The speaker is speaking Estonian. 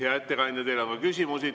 Hea ettekandja, teile on ka küsimusi.